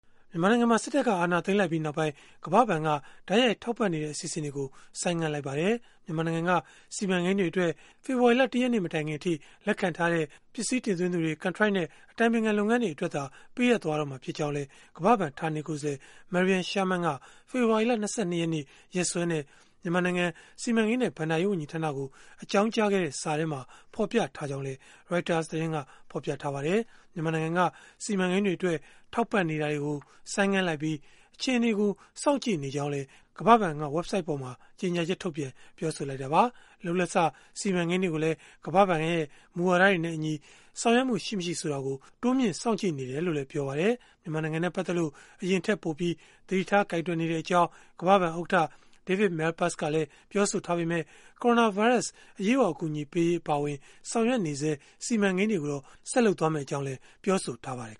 မြန်မာနိုင်ငံမှာ စစ်တပ်က အာဏာသိမ်းလိုက်ပြီးနောက်ပိုင်း ကမ္ဘာ့ဘဏ်က တိုက်ရိုက် ထောက်ပံ့နေတဲ့ အစီအစဉ်တွေကို ဆိုင်းငံ့လိုက်ပါတယ်။ မြန်မာနိုင်ငံက စီမံကိန်းတွေအတွက် ဖေဖော်ဝါရီလ ၁ ရက်နေ့ မတိုင်ခင်မှာ လက်ခံထားတဲ့ ပစ္စည်းတင်သွင်းသူတွေ၊ ကန်ထရိုက်နဲ့ အတိုင်ပင်ခံလုပ်ငန်းတွေအတွက်သာ ပေးအပ်တော့မှာ ဖြစ်ကြောင်းလည်း ကမ္ဘာ့ဘဏ် ဌာနေကိုယ်စားလှယ် Mariam Sherman က ဖေဖော်ဝါရီလ ၂၂ ရက်နေ့ ရက်စွဲနဲ့ မြန်မာနိုင်ငံ စီမံကိန်းနဲ့ ဘဏ္ဍာရေး ဝန်ကြီးဌာနကို အကြောင်းကြားခဲ့တဲ့ စာထဲမှာ ဖော်ပြထားကြောင်းလည်း ရိုက်တာသတင်းက ဖော်ပြပါတယ်။ မြန်မာနိုင်ငံက စီမံကိန်းတွေအတွက် ထောက်ပံ့နေတာတွေကို ဆိုင်းငံ့လိုက်ပြီး၊ အခြေအနေကို စောင့်ကြည့်နေကြောင်းလည်း ကမ္ဘာ့ဘဏ်က ဝဘ်ဆိုဒ်ပေါ်မှာ ကြေညာချက် ထုတ်ပြန်ပြောဆိုခဲ့တာပါ။ လုပ်လက်စ စီမံကိန်းတွေကိုလည်း ကမ္ဘာ့ဘဏ်ရဲ့ မူဝါဒနဲ့အညီ ဆောင်ရွက်မှု ရှိမရှိဆိုတာကို တိုးမြှင့်စောင့်ကြည့်နေတယ်လို့လည်း ပြောပါတယ်။ မြန်မာနိုင်ငံနဲ့ ပတ်သက်လို့ အရင်ထက်ပိုပြီး သတိထားကိုင်တွယ်နေကြောင်း ကမ္ဘာ့ဘဏ်ဥက္ကဋ္ဌ David Malpass ကလည်း ပြောဆိုထားပေမဲ့ ကိုရိုနာဗိုင်းရပ်စ် အရေးပေါ် အကူအညီပေးရေး အပါအဝင် ဆောင်ရွက်နေဆဲ စီမံကိန်းတွေကိုတော့ ဆက်လုပ်သွားမှာ ဖြစ်ကြောင်းလည်း ပြောဆိုထားပါတယ်